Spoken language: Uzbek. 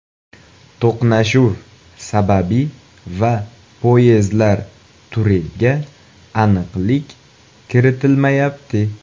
To‘qnashuv sababi va poyezdlar turiga aniqlik kiritilmayapti.